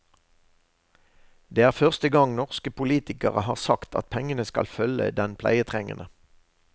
Det er første gang norske politikere har sagt at pengene skal følge den pleietrengende.